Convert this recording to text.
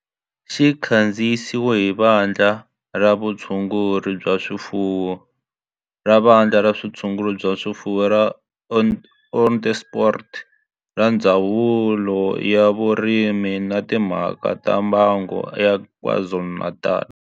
Xi kandziyisiwe hi Vandla ra Vutshunguri bya swifuwo ra Vandla ra Vutshunguri bya swifuwo ra Onderstepoort na Ndzawulo ya Vurimi na Timhaka ta Mbango ya KwaZulu-Natal.